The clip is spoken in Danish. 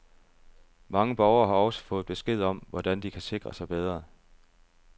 Mange borgere har også fået besked om, hvordan de kan sikre sig bedre.